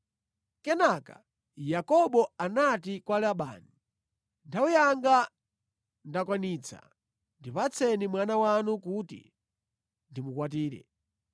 Kenaka Yakobo anati kwa Labani, “Nthawi yanga ndakwanitsa, ndipatseni mwana wanu kuti ndimukwatire.”